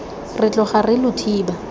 re tloga re lo thiba